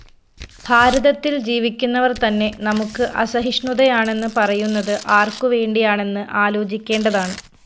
ഭാരതത്തില്‍ ജീവിക്കുന്നവര്‍ തന്നെ നമുക്ക് അസഹിഷ്ണുതയാണെന്ന് പറയുന്നത് ആര്‍ക്കുവേണ്ടിയാണെന്ന് ആലോചിക്കേണ്ടതാണ്